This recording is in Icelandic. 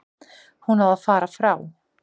Hún á að fara frá.